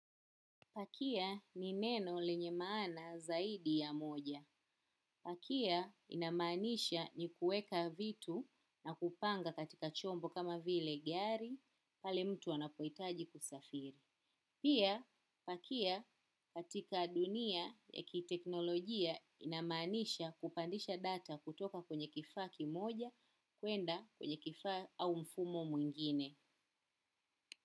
Pakia ni neno lenye maana zaidi ya moja. Pakia inamaanisha ni kuweka vitu na kupanga katika chombo kama vile gari pale mtu anapohitaji kusafiri. Pia, pakia katika dunia ya kiteknolojia inamaanisha kupandisha data kutoka kwenye kifaa kimoja kwenda kwenye kifaa au mfumo mwingine.